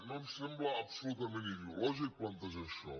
no em sembla absolutament ideològic plantejar això